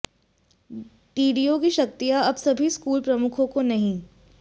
DDO की शक्तियां अब सभी स्कूल प्रमुखों को नहीं